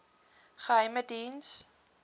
geheimediens